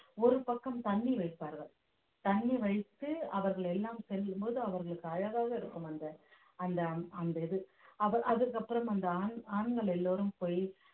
ஒரு பக்கம் தண்ணி வைப்பார்கள் தண்ணி வைத்து அவர்கள் எல்லாம் செல்லும் போது அவர்களுக்கு அழகாக இருக்கும் அந்த அந்த அந்த இது அவ~ அதற்கு அப்புறம் அந்த ஆண்~ ஆண்கள் எல்லோரும் போயி